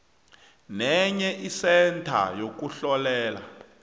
nenye isentha yokuhlolela